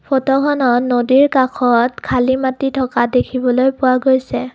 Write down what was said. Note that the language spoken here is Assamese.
ফটোখনত নদীৰ কাষত খালি মাটি থকা দেখিবলৈ পোৱা গৈছে।